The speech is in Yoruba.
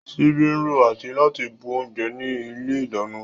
Ṣíbí ń ro àti láti bu oúnjẹ ní ilé ìdáná